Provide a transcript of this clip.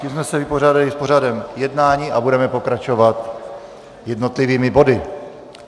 Tím jsme se vypořádali s pořadem jednání a budeme pokračovat jednotlivými body.